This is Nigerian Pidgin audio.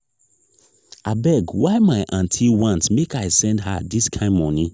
abeg why my aunty want make i send her dis kain moni?